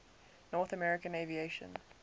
north american aviation